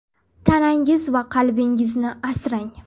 Tanangiz va qalbingizni asrang.